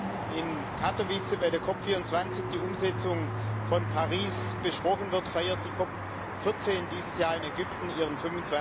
Während in Katowice bei der COP 24 die Umsetzung von Paris besprochen wird, feiert die COP 14 dieses Jahr in Ägypten ihren